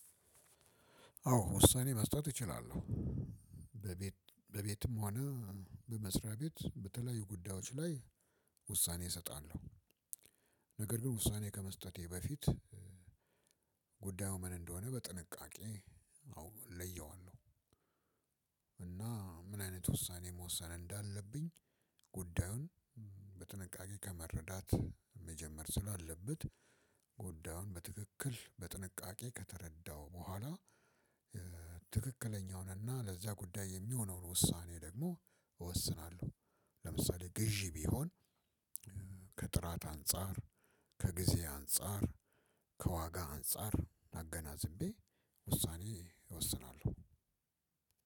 አዎ ውሳኔ መስጠት እችላለሁ። በቤት በቤትም ሆነ በመስሪያ ቤት በተለያዩ ጉዳዮች ላይ ውሳኔ እሰጣለሁ። ነገር ግን ውሳኔ ከመስጠቴ በፊት ጉዳዩ ምን እንደሆነ በጥንቃቄ አው ለየዋለሁ። እና ምን አይነት ውሳኔ መወሰን እንዳለብኝ ጉዳዩን በጥንቃቄ ከመረዳት መጀመር ስላለበት ጉዳዩን በትክክል በጥንቃቄ ከተረዳው በኋላ ትክክለኛውንና ለዚያ ጉዳይ የሚሆነውን ውሳኔ ደግሞ እወስናለሁ። ለምሳሌ ግዢ ቢሆን ከጥራት አንፃር ከጊዜ አንፃር ከዋጋ አንፃር አገናዝቤ ውሳኔ እወስናለሁ።